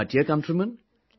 My dear countrymen,